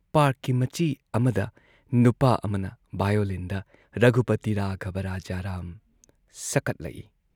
ꯄꯥꯔꯛꯀꯤ ꯃꯆꯤ ꯑꯃꯗ ꯅꯨꯄꯥ ꯑꯃꯅ ꯚꯥꯢꯑꯣꯂꯤꯟꯗ "ꯔꯘꯨꯄꯇꯤ ꯔꯥꯘꯕ ꯔꯥꯖꯥ ꯔꯥꯝ..." ꯁꯛꯀꯠꯂꯛꯏ ꯫